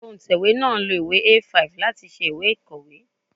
Òǹtẹ̀wé náà lo ìwé A5 láti ṣe ìwé ìkọ̀wé.